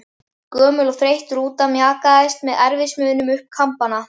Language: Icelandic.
Gömul og þreytt rúta mjakaðist með erfiðismunum upp Kambana.